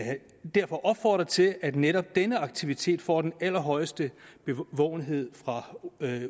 derfor opfordre til at netop denne aktivitet får den allerhøjeste bevågenhed fra